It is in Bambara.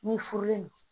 N'i furulen